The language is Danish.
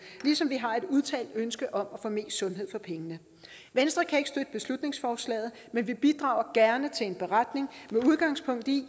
ligesom vi har et udtalt ønske om at få mest sundhed for pengene venstre kan ikke støtte beslutningsforslaget men vi bidrager gerne til en beretning med udgangspunkt i